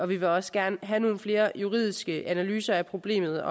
vi vil også gerne have nogle flere juridiske analyser af problemet